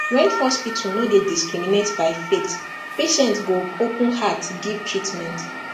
when hospital no dey discriminate by faith patient go open heart give treatment